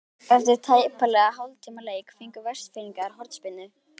Eftir tæplega hálftíma leik fengu Vestfirðingar hornspyrnu.